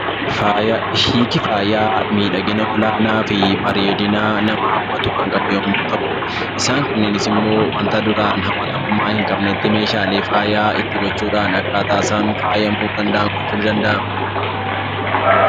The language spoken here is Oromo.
Hiiki faayaa miidhagina olaanaa fi bareedina nama hawwatu kan qaban yommuu ta'u, isaan kunneenis immoo wanta duraan hawwatamummaa hin qabnetti meeshaalee faayaa itti gochuudhaan akkaataa isaan faayamuu danda'an gochuun ni danda'ama.